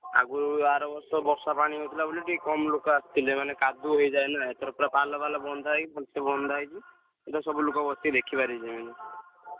ଆଗୁରୁ ଆର ବର୍ଷ ବର୍ଷା ପାଣି ହଉଥିଲା ବୋଲି ଟିକେ କମ୍ ଲୋକ ଆସିଥିଲେ ମାନେ କାଦୁଅ ହେଇଯାଏ ନା ଏଥର ପୁରା ପାଲ ଫାଲ ବନ୍ଧା ହେଇକହି ଭଲ୍ ସେ ବନ୍ଧା ହେଇଚି ଏଥର ସବୁ ଲୋକ ଦେଖି ପାରିବେ।